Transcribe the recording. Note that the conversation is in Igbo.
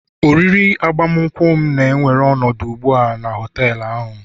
oriri agbamakwụkwọ m na-ewere ọnọdụ ugbu a na họtel ahụ